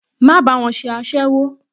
Má bá wọn ṣe aséwó.